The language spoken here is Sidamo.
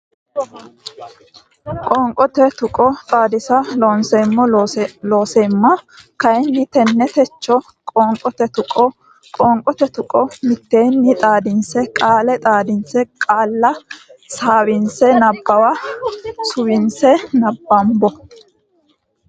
Qoonqote Tuqqo Xaadisa Loonseemmo Looseemma kayinni tenne techo qoonqote tuqqo qoonqote tuqqo mitteenni xaadinse qaale xaadinse qaalla suwise nabbawa suwinse nabbambo.